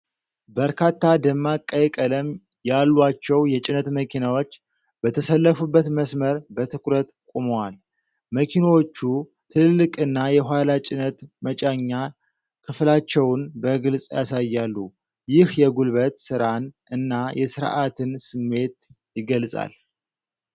በርካታ ደማቅ ቀይ ቀለም ያሏቸው የጭነት መኪናዎች በተሰለፉበት መስመር በትኩረት ቆመዋል። መኪናዎቹ ትልልቅ እና የኋላ ጭነት መጫኛ ክፍላቸውን በግልፅ ያሳያሉ። ይህ የጉልበት ሥራን እና የሥርዓትን ስሜት ይገልጻል።